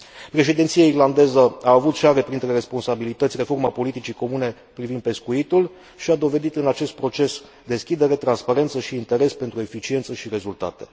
Președinția irlandeză a avut și are printre responsabilități reforma politicii comune privind pescuitul și a dovedit în acest proces deschidere, transparență și interes pentru eficiență și rezultate.